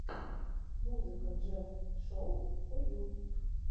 музыка джефф шоу фо ю